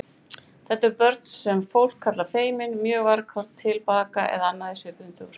Þetta eru börn sem fólk kallar feimin, mjög varkár, tilbaka eða annað í svipuðum dúr.